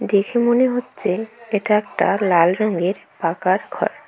দেখে মনে হচ্ছে এটা একটা লাল রঙের পাকার ঘর।